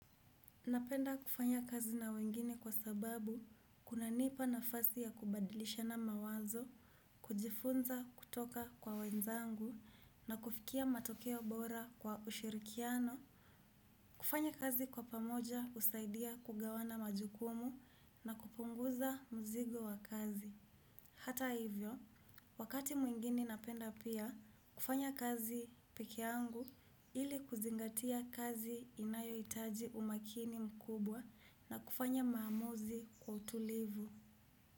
Napenda kufanya kazi na wengine kwa sababu kunanipa nafasi ya kubadilishana mawazo, kujifunza kutoka kwa wenzangu na kufikia matokeo bora kwa ushirikiano, kufanya kazi kwa pamoja husaidia kugawana majukumu na kupunguza mzigo wa kazi. Hata hivyo, wakati mwingini napenda pia, kufanya kazi peke yangu ili kuzingatia kazi inayohitaji umakini mkubwa na kufanya maamuzi kwa utulivu.